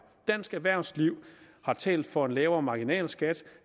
dansk erhvervsliv har talt for lavere marginalskatter